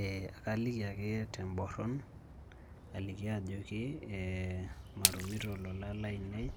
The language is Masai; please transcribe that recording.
Eh kaliki ake teborron, aliki ajoki matumito ilolan lainei,